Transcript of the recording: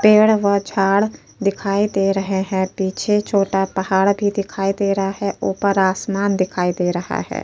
पेड़ व झाड़ दिखाई दे रहे है पीछे छोटा पहाड़ भी दिखाई दे रहा है ऊपर आसमान दिखाई दे रहा है।